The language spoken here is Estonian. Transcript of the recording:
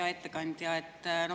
Hea ettekandja!